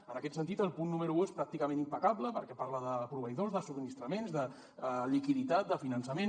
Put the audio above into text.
en aquest sentit el punt número un és pràcticament impecable perquè parla de proveïdors de subministraments de liquiditat de finançament